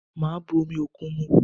Màá bu omi òkun mu